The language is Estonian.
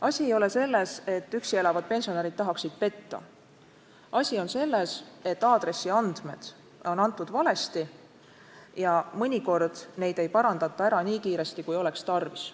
Asi ei ole selles, et üksi elavad pensionärid tahaksid riiki petta, asi on selles, et aadressiandmed on antud valesti ja mõnikord neid ei parandata ära nii kiiresti, kui oleks tarvis.